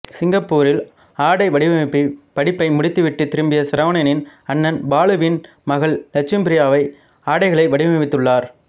சிங்கப்பூரில் ஆடை வடிவமைப்புப் படிப்பை முடித்துவிட்டு திரும்பிய சரவணனின் அண்ணன் பாலுவின் மகள் லட்சுமிப்ரியா ஆடைகளை வடிவமைத்துள்ளார்